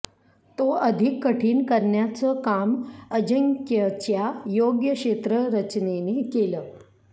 तो अधिक कठीण करण्याचं काम अजिंक्यच्या योग्य क्षेत्ररचनेने केलं